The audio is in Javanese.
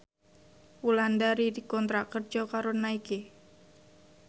Wulandari dikontrak kerja karo Nike